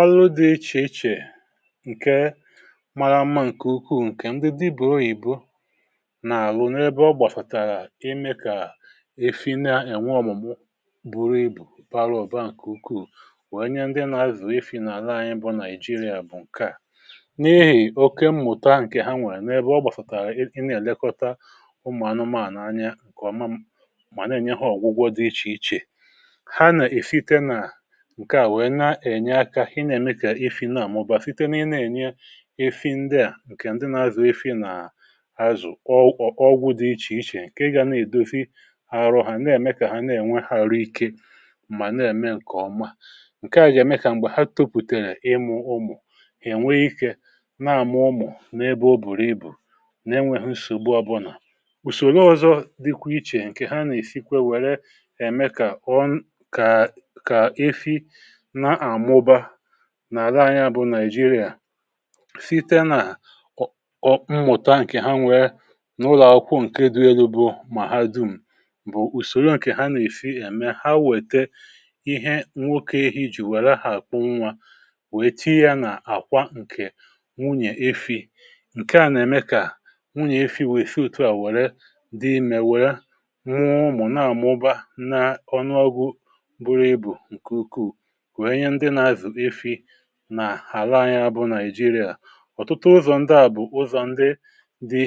ọrụ dị ichè ichè ǹke maara mma ǹkè ukwuu ǹkè ndị dibụ̀ oyìbo nà-àrụ n’ebe ọ gbàsàtàrà imė kà efi na-ènwe ọ̀mụ̀mụ buru ibù um bara oba ǹkè ukwuù wee nye ndị nà-azù ifi nà àla anyi bụ nàịjirịa bụ̀ ǹkè à n’ihì oke mmụ̀ta ǹkè ha nwèrè n’ebe ọ gbàsàtàrà ị na-èlekọta ụmụ̀ anụmaànụ̀ anya ǹkèọma mà na-ènyehe ọ̀gwụgwọ dị ichè ichè ha nà-èfite nà ihe na-ème kà ifi na-àmụba site n’ihe na-ènye efi ndịà ǹkè ndị na-azụ̀ ifi nà azụ̀ ọgwụ̇ dị ichè ichè ǹke ga na-èdozi arụ ha na-ème kà ha na-ènwe ha arụ ike mà na-ème ǹkè ọma ǹke à ga-ème kà m̀gbè ha tupùtèrè ịmụ̇ ụmụ̀ ènwe ikė na-àmụ ụmụ̀ n’ebe o bùrù ibù na-enwėhụ nsògbu abụnà ùsògbu ọzọ̇ dịkwa ichè. ǹkè ha nà-èfikwe wère ème kà ọǹ kà efi nà àla anya bụ nàịjirịà site nà ọ mụ̀ta ǹkè ha nwere n’ụlọ̀akwụkwọ ǹke dị elu̇ um bụ mà ha dum̀ bụ ùsòro ǹkè ha nà-èfi ème ha wète ihe nwokė ehi jì wère ha àkwụ nwa wète ya nà àkwa ǹkè nwunyè efi̇ ǹke à nà-ème kà nwunyè efi̇ wère fee òtù a wère dị mèwèrè nwụụ ụmụ̀ na-àma ụba n’ọnụọgwụ bụrụ ibù ǹkè ukwuù nà àlà anyȧ bụ nàị̀jirià. ọ̀tụtụ ụzọ̀ ndi à bụ̀ ụzọ̀ ndi dị̇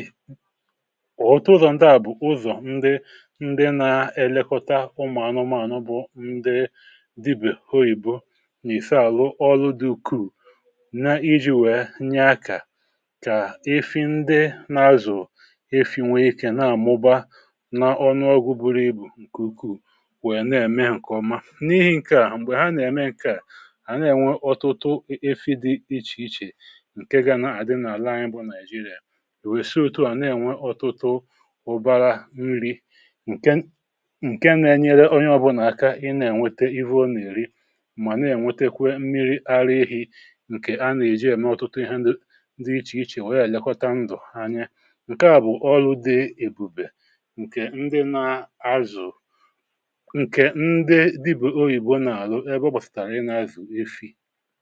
ọ̀tụtụ ụzọ̀ ndi à bụ̀ ụzọ̀ ndi ndi na-elekọta ụmụ̀anụmanụ bụ ndi dibèho um ìbụ́ n’ìsa àlụ ọlụ dị ukwuù na iji̇ wèe nye akȧ kà efi ndi na-azụ̀ efi̇ nwee ikė na-àmụba na ọnụọgwụ buru ibù ǹkè ukwuù wèe na-ème ǹkè ọma n’ihi̇ ǹke à m̀gbè ha nà-ème ǹke à hà na-ènwe ọtụtụ efi dị ichèichè ǹke gȧ nà-àdị n’àla anyị bụ̇ nàị̀jiri̇à wèsịe ọtụtụ à na-ènwe ọtụtụ ụbara nri̇ ǹke nȧ-ėnyere onye ọbụ̇nà aka ị na-ènwete ịhụ o nà-èri mà na-ènwete kwe mmiri ara ehi̇ ǹkè a nà-èji ème ọtụtụ ihe ndị ichè ichè wèe ànyị gà-àlekọta ndụ̀ anyị ǹke à bụ̀ ọlụ dị ebùbè ǹkè ndị na-azụ̀ ǹkè ndị dị bụ̀ oyìbo nà-àrụ fì.